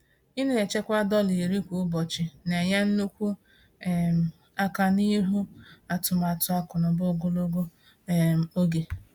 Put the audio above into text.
Ịna-echekwa dọla 10 kwa ụbọchị na-enye nnukwu um aka n'iru atụmatụ akụnaụba ogologo um oge.